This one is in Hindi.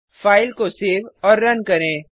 फाइल को सेव करें और रन करें